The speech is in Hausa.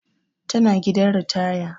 Tana gidan ritaya